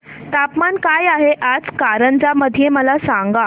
तापमान काय आहे आज कारंजा मध्ये मला सांगा